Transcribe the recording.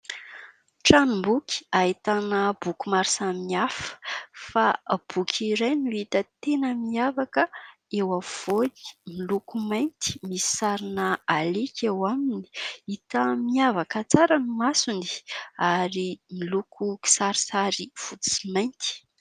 Tranom-boky ahitana boky maro samihafa fa boky iray no hita tena miavaka eo afovoany, miloko mainty misy sarina alika eo aminy, hita miavaka tsara ny masony ary miloko kisarisary fotsy sy mainty.